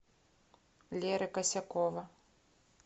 леры косякова